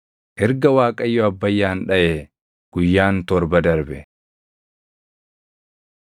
Erga Waaqayyo Abbayyaan dhaʼee guyyaan torba darbe.